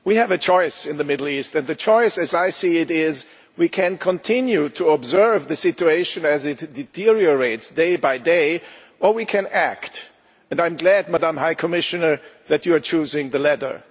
Madam President, we have a choice in the Middle East, and the choice as I see it is that we can continue to observe the situation as it deteriorates day by day, or we can act and I am glad, Madam High Commissioner, that you are choosing the latter.